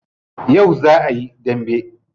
Yau zaa su yi dambe.